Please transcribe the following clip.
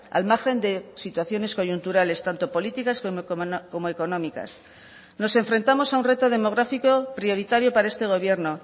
al margen de situaciones coyunturales tanto políticas como económicas nos enfrentamos a un reto demográfico prioritario para este gobierno